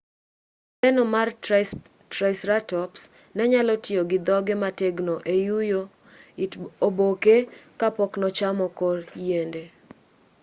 leeno mar triceratops ne nyalo tiyo gi dhoge motegno e yuyo it oboke ka pok nochamo kor yiende